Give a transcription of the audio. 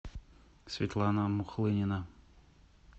светлана мухлынина